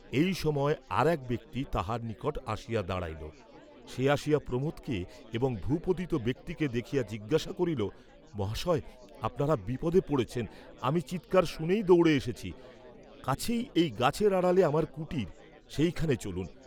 এই সময় আর এক ব্যক্তি তাঁহার নিকট আসিয়া দাঁড়াইল, সে আসিয়া প্রমোদকে এবং ভূপতিত ব্যক্তিকে দেখিয়া জিজ্ঞাসা করিল, মহাশয়, আপনারা বিপদে পড়েছেন আমি চীৎকার শুনেই দৌড়ে এসেছি, কাছেই এই গাছের আড়ালে আমার কুটির, সেইখানে চলুন।